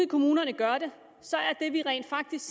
kommunerne gør det ser vi rent faktisk